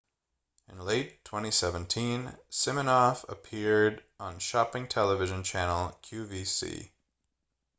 in late 2017 siminoff appeared on shopping television channel qvc